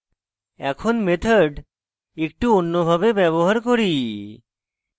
এখন method একটু অন্য ভাবে ব্যবহার করি